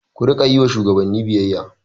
Ku riƙa yi wa shugabanni biyayya!